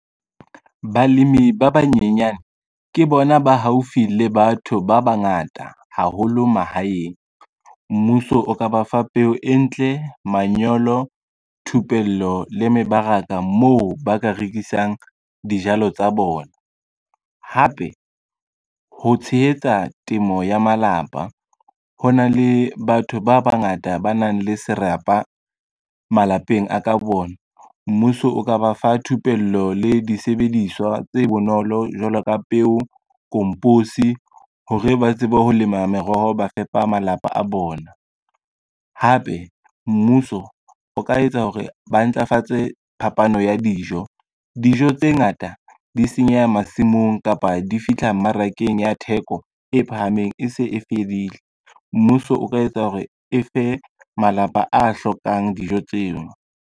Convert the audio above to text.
Balemi ba banyenyane ke bona ba haufi le batho ba bangata haholo mahaeng. Mmuso o ka ba fa peo e ntle, manyolo, thupello le mebaraka moo ba ka rekisang dijalo tsa bona. Hape, ho tshehetsa temo ya malapa ho na le batho ba bangata ba nang le serapa malapeng a ka bona, mmuso o ka ba fa thupello le disebediswa tse bonolo jwalo ka peo, komposi hore ba tsebe ho lema meroho ba fepa malapa a bona. Hape mmuso o ka etsa hore ba ntlafatse phapano ya dijo, dijo tse ngata di senyeha masimong kapa di fihla mmarakeng ya theko e phahameng e se e fedile, mmuso o ka etsa hore e fe malapa a hlokang dijo tseo.